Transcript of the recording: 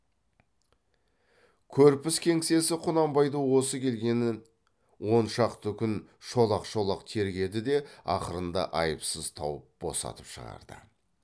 көрпіс кеңсесі құнанбайды осы келгеннен он шақты күн шолақ шолақ тергеді де ақырында айыпсыз тауып босатып шығарды